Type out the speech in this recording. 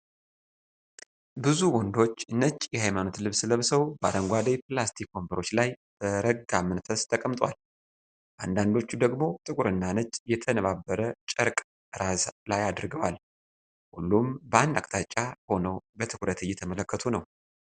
ብዙ ወንዶች ነጭ የሀይማኖት ልብስ ለብሰው በአረንጓዴ ፕላስቲክ ወንበሮች ላይ በረጋ መንፈስ ተቀምጠዋል። አንዳንዶቹ ደግሞ ጥቁርና ነጭ የተነባበረ ጨርቅ ራስ ላይ አድርገዋል። ሁሉም በአንድ አቅጣጫ ሆነው በትኩረት እየተመለከቱ ነው።